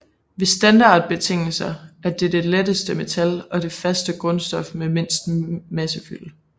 Ved standardbetingelser er det det letteste metal og det faste grundstof med mindst massefylde